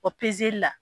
O pezeli la